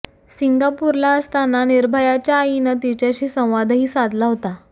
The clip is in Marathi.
सिंगापूरला असताना निर्भयाच्या आईनं तिच्याशी संवादही साधला होता